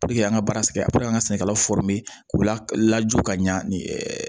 an ka baara kɛ an ka sɛnɛkɛlaw k'u lajɔ ka ɲɛ ni